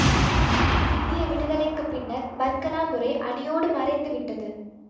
இந்திய விடுதலைக்கு பின்னர் பர்கனா முறை அடியோடு மறைந்து விட்டது